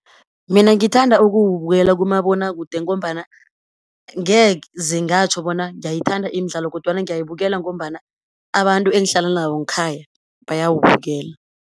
Mina ngithanda ukuwubukela kumabonakude ngombana, ngeze ngatjho bona ngiyayithanda imidlalo, kodwana ngiyayibukela ngombana, abantu engihlala nabo nkhaya bayawubukela.